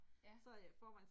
Ja